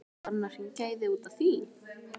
Var hann að hringja í þig út af því?